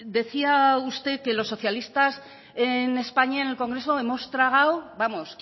decía usted que los socialistas en españa en el congreso hemos tragado vamos